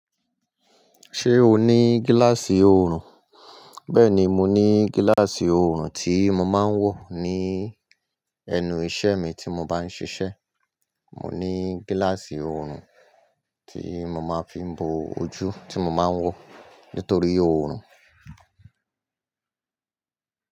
Ṣé o ní gíláàsì oorun? Bẹ́ẹ̀ni, mo ní gíláàsì oorun tí mo máa ń wọ̀ ní ẹnu iṣẹ́ mi tí mo bá ń ṣiṣẹ́. Mo ní gíláàsì oorun tí mo máa fi ń bo ojú tí mo máa ń wọ̀ nítorí oorun.